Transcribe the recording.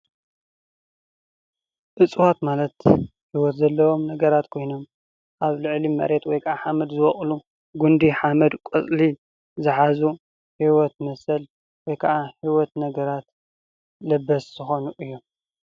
እፅዋት ማለት ሂወት ዘለዎም ነገር ኮይኖም ኣብ ልዕሊ መሬት ወይ ከዓ ሓመድ ዝወቅሉ ጉንዲ፣ ሓመድ፣ ቆፅሊ ዝሓዙን ሂወት መሰል ወይ ከዓ ሂወት ነገራት ለበስ ዝኮኑ እዮም፡፡